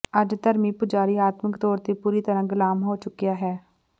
ਅੱਜ ਧਰਮੀ ਪੁਜਾਰੀ ਆਤਮਕ ਤੌਰ ਤੇ ਪੂਰੀ ਤਰ੍ਹਾਂ ਗ਼ੁਲਾਮ ਹੋ ਚੁੱਕਿਆ ਹੈ